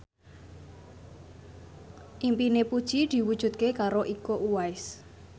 impine Puji diwujudke karo Iko Uwais